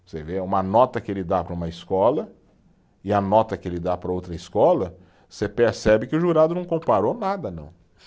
Você vê é uma nota que ele dá para uma escola e a nota que ele dá para outra escola, você percebe que o jurado não comparou nada, não.